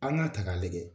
An k'a ta k'a lajɛ